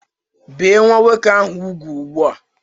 Bie nwa nwoke ahụ úgwù ugbu a!